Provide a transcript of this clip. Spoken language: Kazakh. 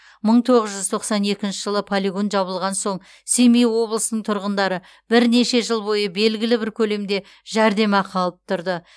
мың тоғыз жүз тоқсан екінші жылы полигон жабылған соң семей облысының тұрғындары бірнеше жыл бойы белгілі бір көлемде жәрдемақы алып тұрды